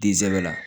Disɛbɛ la